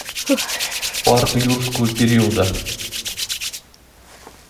парк юрского периода